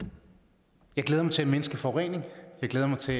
jeg glæder mig til at mindske forureningen jeg glæder mig til